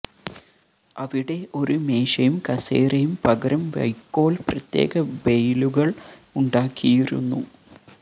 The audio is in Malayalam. അവിടെ ഒരു മേശയും കസേരയും പകരം വൈക്കോൽ പ്രത്യേക ബെയ്ലുകൾ ഉണ്ടാക്കിയിരുന്നു